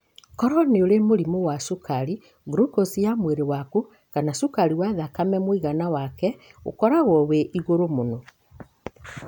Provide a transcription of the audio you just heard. Koro nĩũrĩ mũrimũ wa cukari, glucose ya mwĩrĩ waku kana cukari wa thakame mũiagana wake ũkoragwo wĩ igũrũ mũno.